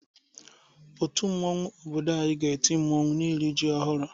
Otu mmanwu obodo anyị ga-eti mmanwụ n'iri ji ọhụrụ.